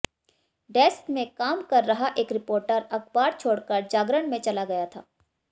desk में काम कर रहा एक रिपोर्टर अखबार छोड़कर जागरण में चला गया था